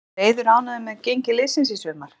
Er Eiður ánægður með gengi liðsins í sumar?